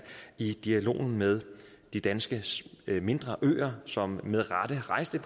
i dialogen med de danske mindre øer som med rette rejste